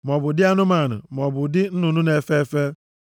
maọbụ nʼụdị anụmanụ, maọbụ nʼụdị nnụnụ na-efe efe,